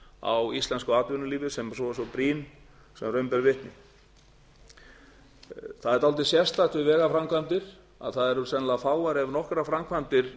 á íslensku atvinnulífi sem er svo brýn sem raun ber vitni það er dálítið sérstakt við vegaframkvæmdir að það eru sennilega fáar ef nokkrar framkvæmdir